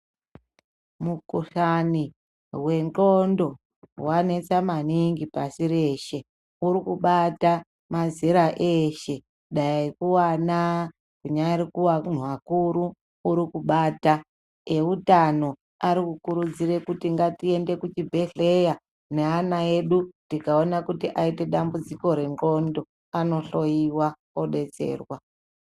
Mukuhlani wendxondo wanesa maningi pasi reshe. Urikubata mazera eshe dai kuana kunyari kuanhu akuru urikubata. Eutano arikurudzira kuti ngatiende kuzvibhehleya neana edu tikaona kuti aite dambudziko rendxondo, anohloyiwa, odetserwa.